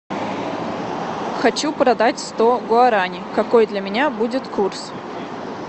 хочу продать сто гуарани какой для меня будет курс